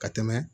Ka tɛmɛ